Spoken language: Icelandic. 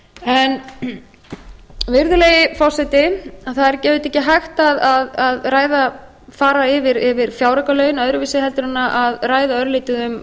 megi vera virðulegi forseti það er auðvitað ekki hægt að fara yfir fjáraukalögin öðruvísi en að ræða örlítið um